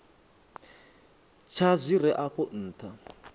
tsha zwi re afho nṱha